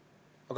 Teie aeg!